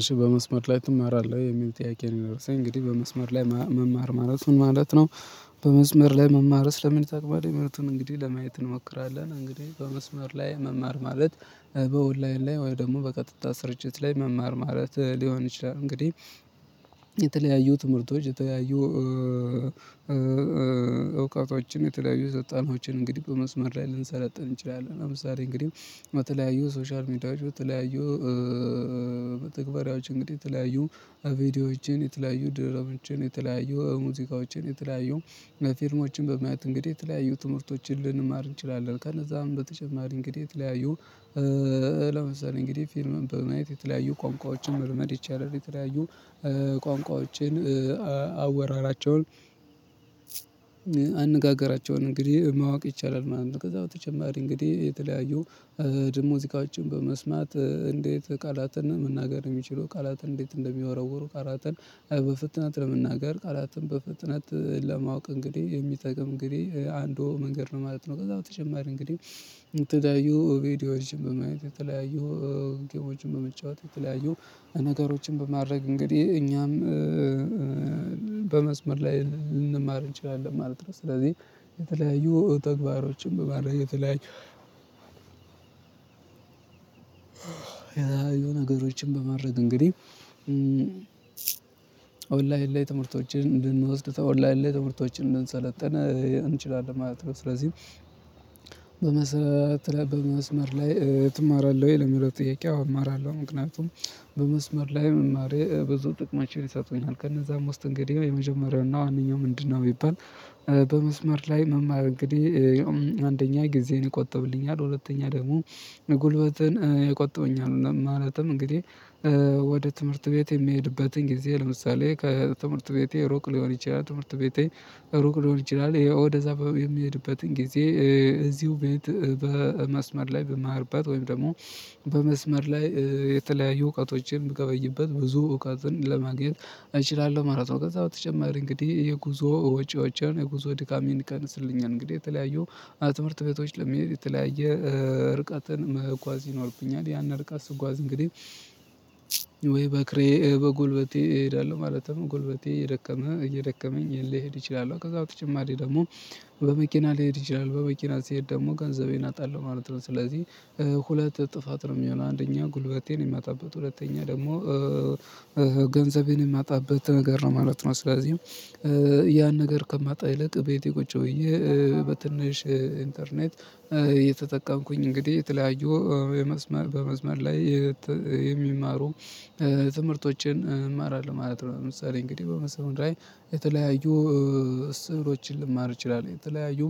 እሺ በመስመር ላይ ትማራለህ የሚል ጥያቄ ነው የሚለው እንግዲህ በመስመር ላይ መማር ማለት ምን ማለት ነው? በመስመር ላይ መማርስ ለምን ይጠቅማል ያሚሉትን እንግዲህ ለማየት እንሞክራለን። እንግዲህ በመስመር ላይ መማር ማለት በውላይን ላይ ወይ ደግሞ በቀጥታ ስርጭት ላይ መማር ማለት ሊሆን ይችላል። እንግዲህ የተለያዩ ትምህርቶች የተለያዩ እውቀቶችን የተለያዩ ሰልጠናዎችን እንግዲህ በመስመር ላይ ልንሰለጥን እንችላለን ለምሳሌ እንግዲህ በተለያዩ ሶሻል ሚዲያዎች በተለያዩ መተግባራዎች እንግዲህ የተለያዩ ቪዲዮዎችን የተለያዩ ድራማዎችን የተለያዩ ሙዚቃዎችን የተለያዩ ፊልሞችን በማየት እንግዲህ የተለያዩ ትምህርቶችን ልንማር እንችላለን። ከነዛም በተጨማሪ እንግዲህ የተለያዩ ለምሳሌ እንግዲህ ፊልምን በማየት የተለያዩ ቋንቋዎችን መልመድ ይቻላል። የተለያዩ ቋንቋዎችን አወራራቸውን አነጋገራቸውን እንግዲህ ማወቅ ይቻላል ማለት ነው። ከዛ በተጨማሪ እንግዲህ የተለያዩ ደግሞ ሙዚቃችን በመስማት እንዴት ቃላትን መናገር የሚችሉ ቃላትን እንዴት እንደሚወረወሩ ቃላትን በፍትነት ለመናገር ቃላትን በፍጥነት ለማወቅ እንግዲህ የሚጠቅም እንግዲህ አንዱ መንገድ ነው ማለት ነው። ከዛ በተጨማሪ እንግዲህ የተለያዩ ቪዲዮዎችን በማየት የተለያዩ ጌሞችን በመጫወት የተለያዩ ነገሮችን በማድረግ እንግዲህ እኛም በመስመር ላይ ልንማር እንችላለን ማለት ነው። ስለዚህ የተለያዩ ተግባሮችን በማድረግ የተለያዩ ነገሮችን በማድረግ እንግዲህ ኦንላይን ላይ ትምህርቶችን እንድንወስድ ከኦላይን ላይ ትምህርቶችን እንድንሰለጥን እንችላለን ማለት ነው። ስለዚህ በመስመር ላይ ትማራለህ ወይ የሚለው ጥያቄ አዎ እማራለሁ። ምክንያቱም በመስመር ላይ መማሬ ብዙ ጥቅሞችን ይሰጡኛል ከነዛም ውስጥ እንግዲህ የመጀመሪያው እና ዋነኛው ምንድነው? ቢባል በመስመር ላይ መማር እንግዲህ አንደኛ ጊዜን ይቆጥብልኛል። ሁለተኛ ደግሞ ጉልበትን ይቆጥብልኛል። ማለትም እንግዲህ ወደ ትምህርት ቤት የሚሄድበትን ጊዜ ለምሳሌ ከትምህርት ቤቴ ሩቅ ሊሆን ይችላል ትምህርት ቤቴ ሩቅ ሊሆን ይችላል። ወደዛ የሚሄድበትን ጊዜ እዚሁ ቤት በመስመር ላይ ብማርበት ወይም ደግሞ በመስመር ላይ የተለያዩ እውቀቶችን ብገበይበት ብዙ እውቀትን ለማግኘት እችላለሁ ማለት ነው። ከዛ በተጨማሪ እንግዲህ የጉዞ ወጪዎቼን የጉዞ ድካሜን ይቀንስልኛል። እንግዲህ የተለያዩ ትምህርት ቤቶች ለመሄድ የተለያየ እርቀትን መኳዝ ይኖርብኛል ያን ርቀት ስጓዝ እንግዲህ ወይ በእግሬ በጎልበቴ እሄዳለሁ ማለት ነው። ጎልበቴ እየደከመ እየደከመኝ ሊሄድ ይችላል። ከዛ በተጨማሪ ደግሞ በመኪና ሊሄድ እችላለሁ በመኪና ሲሄድ ደግሞ ገንዘቤን አጣለሁ ማለት ነው። ስለዚህ ሁለት ጥፋት ነው የሚሆነው። አንደኛ ጉልበቴን የማጣበት ሁለተኛ ደግሞ ገንዘቤን የማጣበት ነገር ነው ማለት ነው። ስለዚህም ያን ነገር ከማጣ ይልቅ እቤቴ ቁጭ ብዬ በትንሽ ኢንተርኔት እየተጠቀምኩኝ እንግዲህ የተለያዩ የመስመር በመስመር ላይ የሚማሩ ትምህርቶችን እማራለሁ ማለት ነው። ለምሳሌ እንግዲህ በመስመር ላይ የተለያዩ ስህተቶችን ልማር ይችላለሁ። የተለያዩ